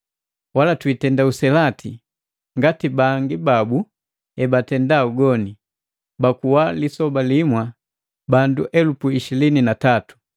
Walatuitenda uselati ngati bangi babu ebatenda ugoni, bakuwa lisoba limwa bandu elupu ishilini na tatu.